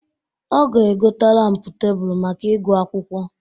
Ọ ga-egota lampụ tebulu maka ịgụ akwụkwọ.